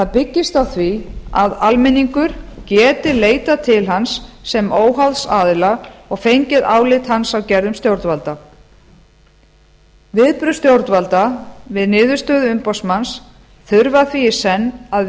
byggist á því að almenningur geti leitað til hans sem óháðs aðila og fengið álit hans á gerðum stjórnvalda viðbrögð stjórnvalda við niðurstöðu umboðsmanns þurfa því í senn að